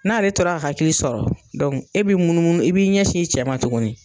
N'ale tɔra ka hakili sɔrɔ e bi munumunu i b'i ɲɛ sin i cɛ ma tuguni.